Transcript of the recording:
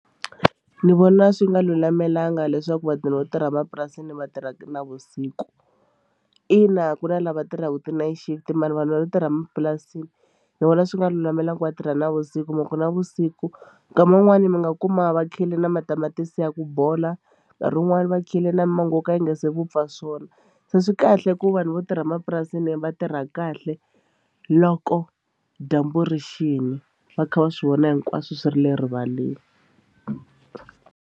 Ni vona swi nga lulamelangi leswaku vatirhi vo tirha emapurasini va tirha navusiku ina ku na lava tirhaka ti-night shift mara vanhu vo tirha emapurasini ni vona swi nga lulamelangi va tirha navusiku hi mhaka ku navusiku nkama wun'wani mi nga kuma va khile na matamatisi ya ku bola nkarhi wun'wani va khile na mango wo ka wu nga se vupfa swona se swi kahle ku vanhu vo tirha emapurasini va tirha kahle loko dyambu ri xini va kha va swi vona hinkwaswo swi ri le rivaleni.